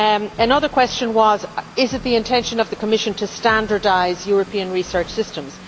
Another question was is it the intention of the Commission to standardise European research systems?